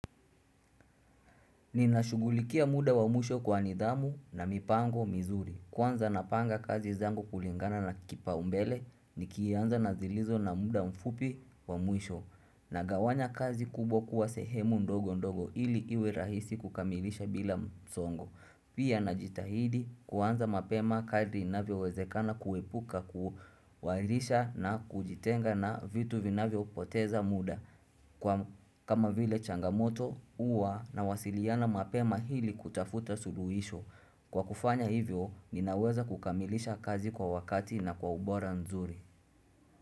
Ninashughulikia muda wa mwisho kwa nidhamu na mipango mizuri. Kwanza napanga kazi zangu kulingana na kipaumbele nikianza nazilizo na muda mfupi wa mwisho nagawanya kazi kubwa kuwa sehemu ndogo ndogo ili iwe rahisi kukamilisha bila msongo. Pia najitahidi kuanza mapema kadri inavyowezekana kuepuka kuahirisha na kujitenga na vitu vinavyo poteza muda kama vile changamoto huwa nawasiliana mapema hili kutafuta suruhisho. Kwa kufanya hivyo ninaweza kukamilisha kazi kwa wakati na kwa ubora nzuri.